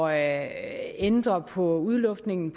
at ændre på udluftningen